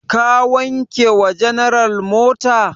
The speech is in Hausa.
Ka wanke wa general mota?